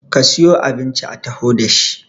ka siyo abinci a taho da shi!